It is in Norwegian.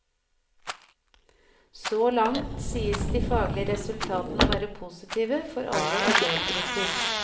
Så langt sies de faglige resultatene å være positive for alle elevgrupper.